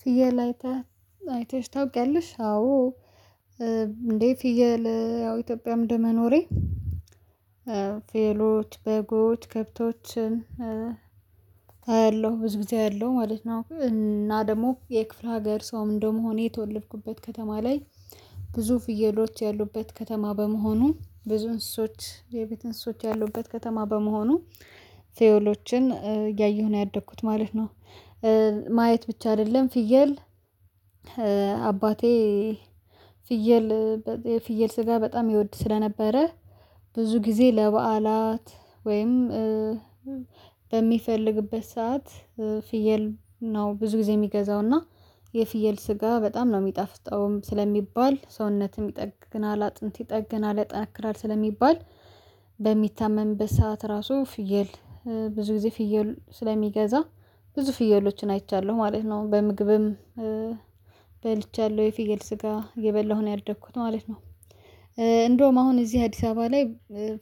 ፍየል አይተህ አይተሽ ታውቂያለሽ? አዎ እንዴ ፍየል ያው ኢትዮጵያም ደመኖሬ ፌሎች፣ በጎች፣ ከብቶችን አያለሁ። ብዙ ጊዜ አለው ማለት ነው። እና ደግሞ የክፍለ ሀገር ሰውም እንደመሆኔ የተወለድኩበት ከተማ ላይ ብዙ ፍየሎች ያሉበት ከተማ በመሆኑ ብዙ እንስሶች፣ የቤት እንስሶች ያሉበት ከተማ ቴዎሎችን እያየሁ ነው ያደግኩት ማለት ነው። ማየት ብቻ አይደለ። ፍየል አባቴ ፍየል በ የፍየል ስጋ በጣም ይወድ ስለነበረ ብዙ ጊዜ ለበዓላት ወይም በሚፈልግበት ሰዓት ፍየል ነው። ብዙ ጊዜ የሚገዛውና የፍየል ስጋ በጣም ነው የሚጣፍጠውም። ስለሚባል ሰውነትም ይጠግናል አጥንት ይጠግናል ያጠነክራል ስለሚባል በሚታመም በሰአት ራሱ ፍየል ብዙ ጊዜ ፍየል ስለሚገዛ ብዙ ፍየሎችን አይቻለሁ። ማለት ነው። በምግብም በልቻለሁ። የፊየል ስጋ እየበላሁ ነው ያደኩት ማለት ነው። እንደውም አሁን እዚህ አዲስ አበባ ላይ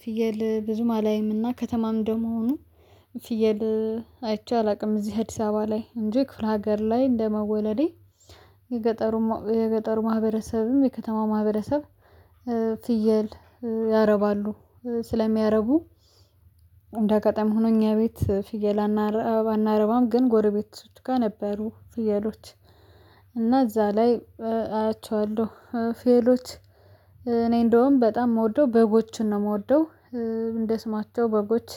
ፍየል ብዙም አላይም እና ከተማም እንደ መሆኑ ፍየል አይቼ አላውቅም። እዚህ አዲስ አበባ ላይ እንጂ ክፍለ ሀገር ላይ እንደመወለዴ የገጠሩ የገጠሩ ማህበረሰብም የከተማ ማህበረሰብ ፍየል ያረባሉ ስለሚያረቡ እንደ አጋጣሚ ሆኖ እኛ ቤት ፍየል አና አናረባም ግን ጎረቤቶች ጋር ነበሩ ፍየሎች። እና እዛ ላይ አያቸዋለ። ፌየሎች እኔ እንደውም በጣም የምወደው በጎችን። ነው የምወደው እንደ ስማቸው በጎች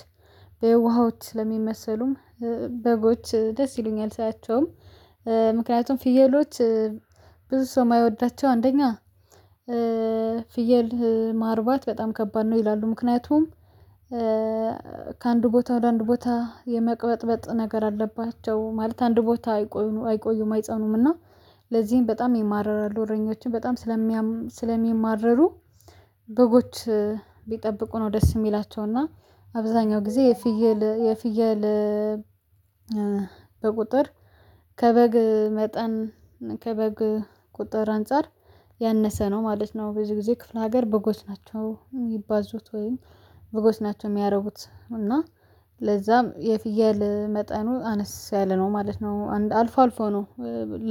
በየውሃዎች ለሚመሰሉም በጎች ደስ ይሉኛል። ሳያቸውም ምክንያቱም ፍየሎች ብዙ ሰው የማይወዳቸው አንደኛ ፍየል ማርባት በጣም ከባድ ነው ይላሉ ምክንያቱም ከአንድ ቦታ ወደ አንድ ቦታ የመቅበጥበጥ ነገር አለባቸው። ማለት አንድ ቦታ አይቆዩም አይጸኑም እና ለዚህም በጣም የሚማርሩ አሉ እረኞችን በጣም ስለሚማርሩ በጎች ቢጠብቁ ነው ደስ የሚላቸው። እና አብዛኛው ጊዜ የፍየል የፍየል በቁጥር ከበግ መጠን ከበግ ቁጥር አንፃር ያነሰ ነው ማለት ነው። በዚህ ጊዜ ክፍለ ሀገር በጎች ናቸው። ሚባዙት ወይም በጎች ናቸው። የሚያረቡት እና ለዛም የፍየል መጠኑ አነስ ያለ ነው። ማለት ነው። አንድ አልፎ አልፎ ነው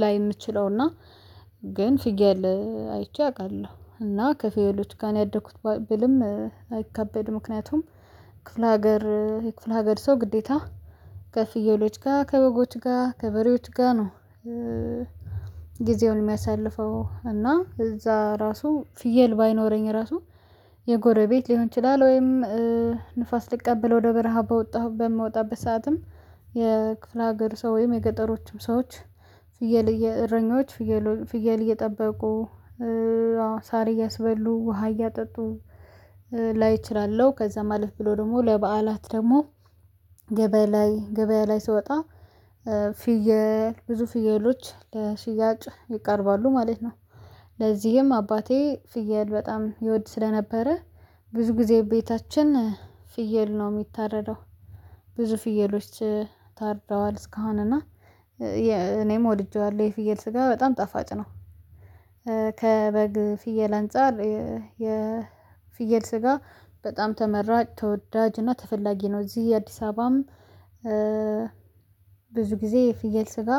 ላይ የምንችለው እና ግን ፍየል አይቼ አውቃለሁ። እና ከፍየሎች ጋር ነው ያደኩት ብልም አይከበድም። ምክንያቱም ክፍለ ሀገር የክፍለ ሀገር ሰው ግዴታ ከፍየሎች ጋር ከበጎች ጋር ከበሬዎች ጋር ነ። ጊዜውን የሚያሳልፈው እና እዛ ራሱ ፍየል ባይኖረኝ ራሱ የጎረቤት ሊሆን ይችላል። ወይም ንፋስ ልቀበል ወደ በረሃ በወጣሁ በምወጣበት ሰዓትም የክፍለ ሀገር ሰው ወይም የገጠሮቹም ሰዎች ፍየል እረኞች ፍየል እየጠበቁ ሳር እያስበሉ ውሃ እያጠጡ ላይ እችላለሁ። ከዛ አለፍ ብሎ ደግሞ ለበዓላት ደግሞ ገበያ ላይ ገበያ ላይ ስወጣ ፍየል ብዙ ፍየሎች ለሽያጭ ይቀርባሉ። ማለት ነው። ለዚህም አባቴ ፍየል በጣም ይወድ ስለነበረ ብዙ ጊዜ ቤታችን ፍየል ነው የሚታረደው ብዙ ፍየሎች ታርደዋ። እስካሁን እና እኔም ወድጄዋለሁ። የፍየል ስጋ በጣም ጠፋጭ ነው። ከበግ ፍየል አንፃር የፍየል ስጋ በጣም ተመራጭ ተወዳጅ እና ተፈላጊ ነው። እዚህ የአዲስ አበባም ብዙ ጊዜ የፍየል ስጋ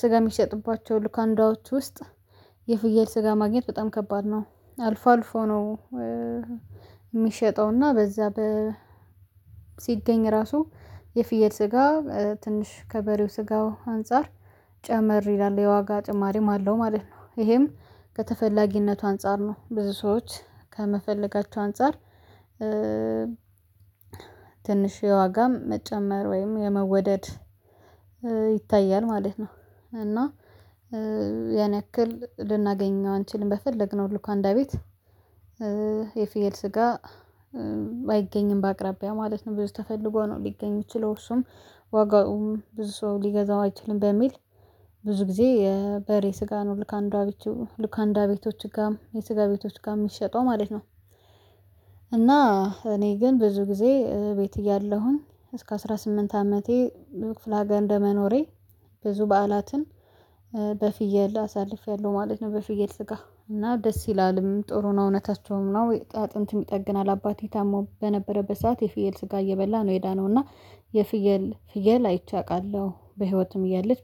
ስጋ የሚሸጥባቸው ሉካንዳዎች ውስጥ የፍየል ስጋ ማግኘት በጣም ከባድ ነ። አልፎ አልፎ ነው የሚሸጠው እና በዛ በ ሲገኝ ራሱ የፍየል ስጋ ትንሽ ከበሬው ስጋው አንፃር ጨመር ይላ። የዋጋ ጭማሪም አለው። ማለት ነው ይሄም ከተፈላጊነቱ አንፃር ነው ብዙ ሰዎች ከመፈልጋቸው አንፃር ትንሽ የዋጋም መጨመር ወይም የመወደድ ይታያል ማለት ነው። እና ያን ያክል ልናገኘው አንችልም። በፈለግነው ልኳንዳ ቤት የፌየል ስጋ አይገኝም በአቅራቢያ ማለት ነው። ብዙ ተፈልጎ ነው ሊገኙ የሚችለው እሱም ዋጋውም ብዙ ሰው ሊገዛው አይችልም። በሚል ብዙ ጊዜ የበሬ ስጋ ነው ልክ አንዷ ቤቶች ልክ አንዷ ቤቶች ጋር የስጋ ቤቶች ጋር የሚሸጠው ማለት ነው። እና እኔ ግን ብዙ ጊዜ ቤት እያለሁኝ። እስከ አስራ ስምንት አመቴ ክፍለ አጋን እንደመኖሬ ብዙ በዓላትን በፍየል አሳልፌያለሁ። ማለት ነው በፍየል ስጋ እና ደስ ይላልም ጥሩ ነው እውነታቸውም ነው አጥንት የሚጠግን አባቴ ታሞ በነበረበት ሰዓት የፍየል ስጋ እየበላ ነው የዳነው እና የፍየል ፍየል አይቼ አውቃለሁ። በህይወትም እያለች